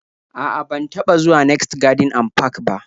A'a, ban taba zuwa next garden and park ba